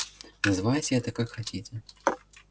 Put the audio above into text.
называйте это как хотите